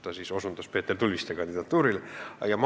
Ta osutas siis Peeter Tulviste kandidatuurile.